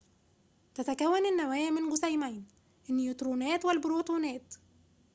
تتكون النواة من جسيمين النيوترونات والبروتونات